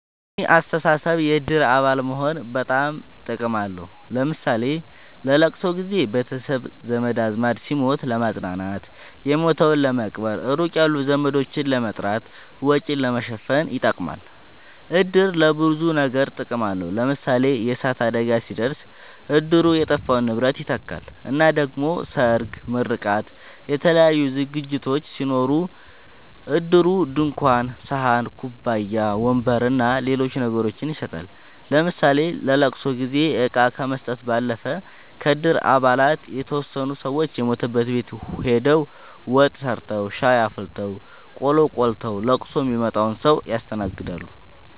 በኔ አስተሳሰብ የእድር አባል መሆን በጣም ጥቅም አለዉ ለምሳሌ ለለቅሶ ጊዘ ቤተሰብ ዘመድአዝማድ ሲሞት ለማጽናናት የሞተዉን ለመቅበር ሩቅ ያሉ ዘመዶችን ለመጥራት ወጪን ለመሸፈን ይጠቅማል። እድር ለብዙ ነገር ጥቅም አለዉ ለምሳሌ የእሳት አደጋ ሲደርስ እድሩ የጠፋውን ንብረት ይተካል እና ደሞ ሰርግ ምርቃት የተለያዩ ዝግጅቶች ሲኖሩ እድሩ ድንኳን ሰሀን ኩባያ ወንበር አና ሌሎች ነገሮችን ይሰጣል ለምሳሌ ለለቅሶ ጊዜ እቃ ከመስጠት ባለፈ ከእድር አባላት የተወሰኑት ሰወች የሞተበት ቤት ሆደው ወጥ ሰርተዉ ሻይ አፍልተው ቆሎ ቆልተዉ ለቅሶ ሚመጣዉን ሰዉ ያስተናግዳሉ።